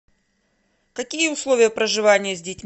какие условия проживания с детьми